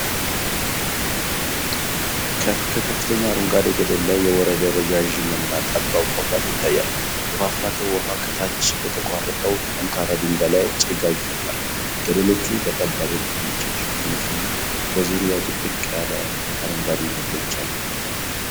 ከከፍተኛ አረንጓዴ ገደል ላይ የወረደ ረዣዥም እና ጠባብ ፏፏቴ ይታያል። የፏፏቴው ውሃ ከታች በተቆረጠው ጠንካራ ድንጋይ ላይ ጭጋግ ይፈጥራል። ገደሎቹ በጠባብ እርከኖች የተሸፈኑ ሲሆን፣ በዙሪያው ጥቅጥቅ ያለ አረንጓዴ ተክሎች አሉ።